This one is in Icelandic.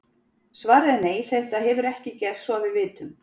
Svarið er nei, þetta hefur ekki gerst svo að við vitum.